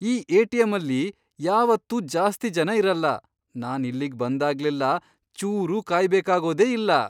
ಈ ಎ.ಟಿ.ಎಂ.ಅಲ್ಲಿ ಯಾವತ್ತೂ ಜಾಸ್ತಿ ಜನ ಇರಲ್ಲ.. ನಾನ್ ಇಲ್ಲಿಗ್ ಬಂದಾಗ್ಲೆಲ್ಲ ಚೂರೂ ಕಾಯ್ಬೇಕಾಗೋದೇ ಇಲ್ಲ!